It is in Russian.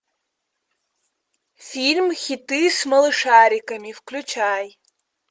фильм хиты с малышариками включай